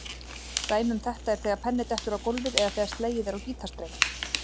Dæmi um þetta er þegar penni dettur á gólfið eða þegar slegið er á gítarstreng.